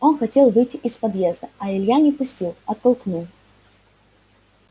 он хотел выйти из подъезда а илья не пустил оттолкнул